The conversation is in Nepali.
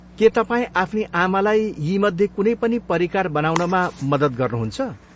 के तपाईँ आफ्नी आमालाई यीमध्ये कुनै पनि परिकार बनाउनमा मद्दत गर्नुहुन्छ?